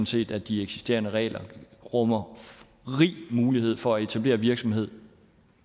set at de eksisterende regler rummer rig mulighed for at etablere virksomhed